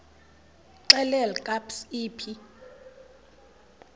xelel kabs iphi